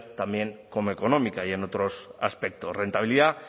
también como económica y en otros aspectos rentabilidad